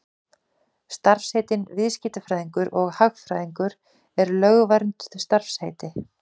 Starfsheitin viðskiptafræðingur og hagfræðingur eru lögvernduð starfsheiti.